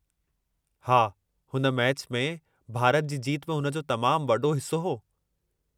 हा, हुन मैचि में भारत जी जीत में हुन जो तमामु वॾो हिस्सो हो।